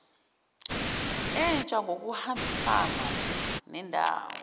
entsha ngokuhambisana nendawo